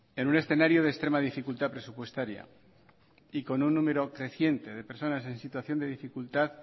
en un escenario de extrema dificultad presupuestaria y con un número creciente de personas en situación de dificultad